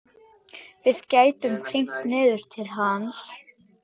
Við gætum hringt niður til hans.